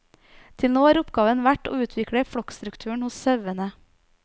Til nå har oppgaven vært å utvikle flokkstrukturen hos sauene.